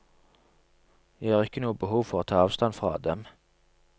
Jeg har ikke noe behov for å ta avstand fra dem.